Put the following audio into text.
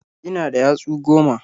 Ina da yatsu goma.